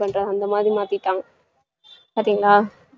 பண்றாங்க அந்த மாதிரி மாத்திட்டாங்க பார்த்தீங்களா